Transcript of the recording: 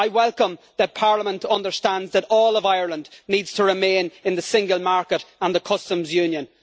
I welcome the fact that Parliament understands that all of Ireland needs to remain in the single market and the Customs Union.